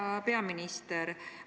Hea peaminister!